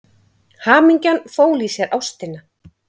Hamingjan fól í sér ástina.